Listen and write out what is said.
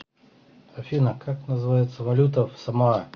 афина как называется валюта в самоа